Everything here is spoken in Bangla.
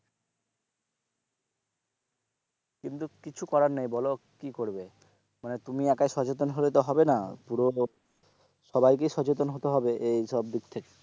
কিন্তু কিছু করার নাই বলো কি করবে মানে তুমি একাই সচেতন হলে তো হবে না পুরো সবাইকে সচেতন হতে হবে এই সব দিক থেকে,